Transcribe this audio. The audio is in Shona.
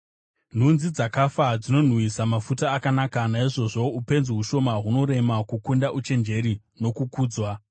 Nhunzi dzakafa dzinonhuwisa mafuta akanaka, saizvozvowo upenzi hushoma hunorema kukunda uchenjeri nokukudzwa.